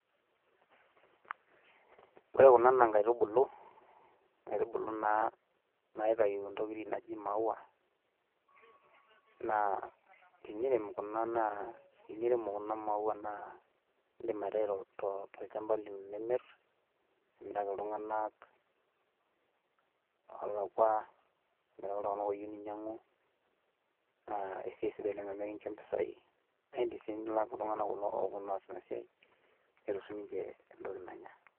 ore kunaa nkaitubulu naaitayu entoki naaji mauaa, naa tinirem kuna maaua naa idim aitau tolchampa lino nimir, nimiraki iltunganak oolakua, nimiraki iltunganak ooyieu ninyiangu neeku esiai sidai oleng' amu ekincho mpisai, naa idim sii nilak kulo tunganak oopuonu aaitau netum sii ninche entoki nanya.